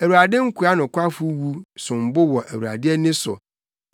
Awurade nkoa nokwafo wu som bo wɔ Awurade ani so.